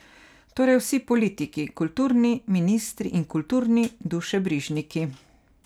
Torej vsi politiki, kulturni ministri in kulturni dušebrižniki.